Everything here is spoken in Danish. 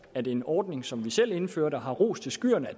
at en ordning som vi selv indførte og har rost til skyerne